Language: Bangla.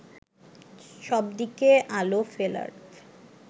সবদিকে আলো ফেলার